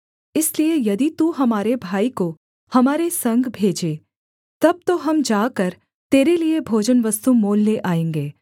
इसलिए यदि तू हमारे भाई को हमारे संग भेजे तब तो हम जाकर तेरे लिये भोजनवस्तु मोल ले आएँगे